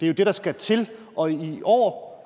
er det der skal til og i år år